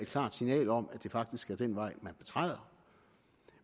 klart signal om at det faktisk er den vej man betræder